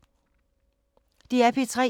DR P3